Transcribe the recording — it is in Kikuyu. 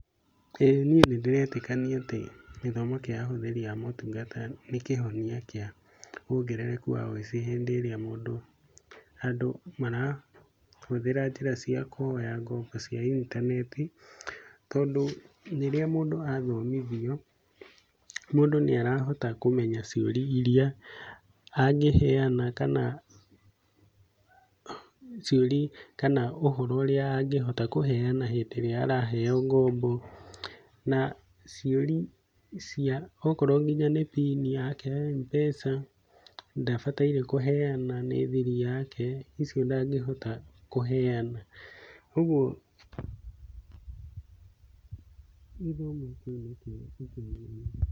Ĩ nĩe nĩndĩretĩkanĩa atĩ githomo kĩa ahuthiri aa motungata nĩ kĩhonia kĩa wongerereku wa ũicĩ hĩndĩ ĩrĩa mũndũ, andũ marahũthira njĩra cĩa kũhoya ngombo cĩa intaneti, tondũ rĩrĩa mũndũ athomĩthio, mũndũ nĩarahota kũmenya cĩuria ĩrĩa angĩheana kana ũhoro ũrĩa angihota kũheana hĩndĩ ĩrĩa araheo ngombo na cĩuria korwo nĩ pin yake ya Mpesa ndabataĩre kũheana nĩ thĩri yake ĩcĩo ndangihota kũheana.